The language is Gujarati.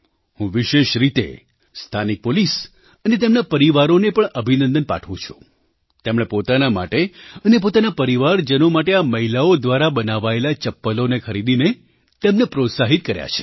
હું વિશેષ રીતે સ્થાનિક પોલીસ અને તેમના પરિવારોને પણ અભિનંદન પાઠવું છું તેમણે પોતાના માટે અને પોતાના પરિવારજનો માટે આ મહિલાઓ દ્વારા બનાવાયેલા ચપ્પલોને ખરીદીને તેમને પ્રોત્સાહિત કર્યા છે